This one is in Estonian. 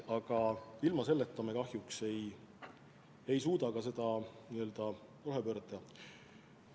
Aga ilma selle jaamata me kahjuks ei suuda ka seda rohepööret teha.